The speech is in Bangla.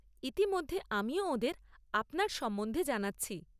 ইতিমধ্যে আমিও ওঁদের আপনার সম্বন্ধে জানাচ্ছি।